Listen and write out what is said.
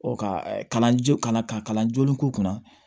Ɔ ka kalanjo kana ka kalan joona k'u kunna